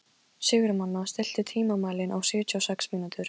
Sigurnanna, stilltu tímamælinn á sjötíu og sex mínútur.